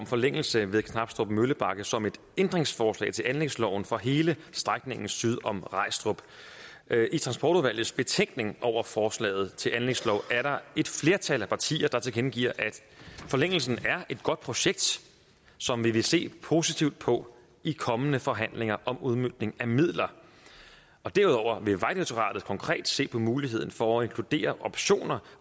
forlængelse ved knabstrup møllebakke som et ændringsforslag til anlægsloven for hele strækningen syd om regstrup i transportudvalgets betænkning over forslaget til anlægslov er der et flertal af partier der tilkendegiver at forlængelsen er et godt projekt som de vil se positivt på i kommende forhandlinger om udmøntningen af midler derudover vil vejdirektoratet konkret se på muligheden for at inkludere optioner